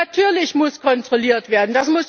Natürlich muss kontrolliert werden.